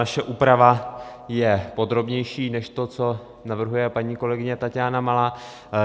Naše úprava je podrobnější než to, co navrhuje paní kolegyně Taťána Malá.